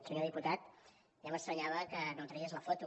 senyor diputat ja m’estranyava que no tragués la foto